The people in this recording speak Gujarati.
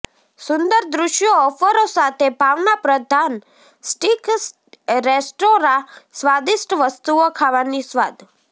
સુંદર દૃશ્યો ઓફરો સાથે ભાવનાપ્રધાન સ્ટીક રેસ્ટોરાં સ્વાદિષ્ટ વસ્તુઓ ખાવાની સ્વાદ